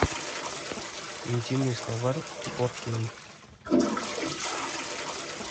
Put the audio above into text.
интимный словарь фор кей